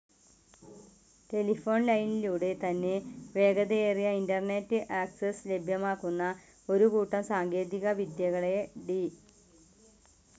Telephone ലൈനിലൂടെ തന്നെ വേഗതയേറിയ ഇന്റർനെറ്റ്‌ ആക്സ്സസ് ലഭ്യമാക്കുന്ന ഒരു കൂട്ടം സാങ്കേതിക വിദ്യകളെ ഡി.